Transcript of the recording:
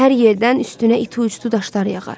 Hər yerdən üstünə iti uçdu daşlar yağar.